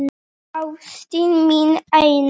Ástin mín eina.